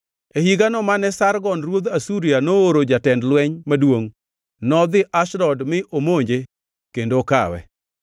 E higano mane Sargon ruodh Asuria nooro jatend lweny maduongʼ, nodhi Ashdod mi omonje kendo okawe,